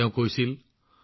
কবিৰদাসজীয়ে কৈছিল